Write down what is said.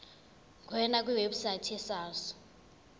ngena kwiwebsite yesars